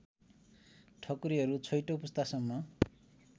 ठकुरीहरू छैठौँ पुस्तासम्म